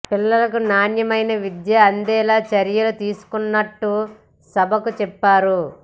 పిల్లలకు నాణ్యమైన విద్య అందేలా చర్యలు తీసుకుంటున్నట్టు సభకు చెప్పారు